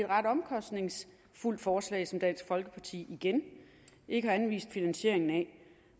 ret omkostningsfuldt forslag som dansk folkeparti igen ikke har anvist finansiering af